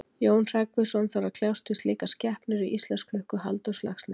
jón hreggviðsson þarf að kljást við slíkar skepnur í íslandsklukku halldórs laxness